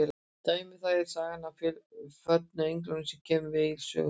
Dæmi um það er sagan af föllnu englunum sem kemur við Egils sögu.